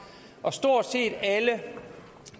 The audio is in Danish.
og stort set alle